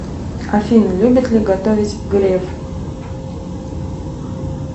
афина любит ли готовить греф